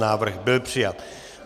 Návrh byl přijat.